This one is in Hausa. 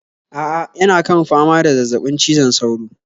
A'a yana kan fama da zazzabin cizon sauro